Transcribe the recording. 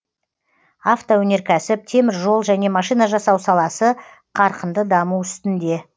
автоөнеркәсіп теміржол және машина жасау саласы қарқынды даму үстінде